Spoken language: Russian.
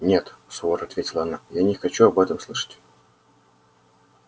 нет сурово ответила она я не хочу об этом слышать